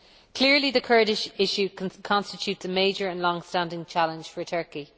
Clearly, the Kurdish issue constitutes a major and longstanding challenge for Turkey.